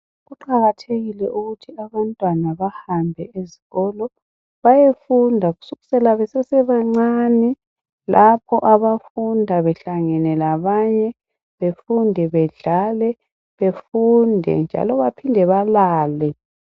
Kuqakathekile ukuthi abantwana bahambe esikolo bayefunda kusukela besesebancane lapho abafunda behlangene labanye befunda bedlala, njalo baphinde balale.